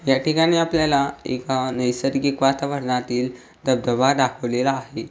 ह्या ठिकाणी आपल्याला एका नैसर्गिक वातावरणातील धबधबा दाखवलेला आहे.